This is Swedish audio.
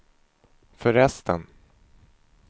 förresten